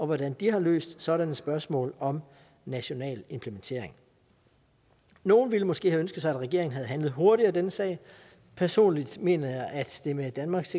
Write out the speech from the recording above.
hvordan de har løst sådanne spørgsmål om national implementering nogle ville måske have ønsket sig at regeringen havde handlet hurtigere i denne sag personligt mener jeg at det med danmarks